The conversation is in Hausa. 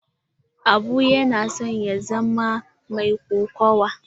Abu yana son ya zama mai kokawa.